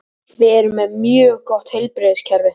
Við erum með mjög gott heilbrigðiskerfi.